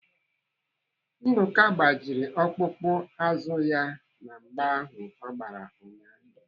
Nduka gbajiri ọkpụkpụ azụ ya na mgba ahụ ọ gbara ụnyaahụ.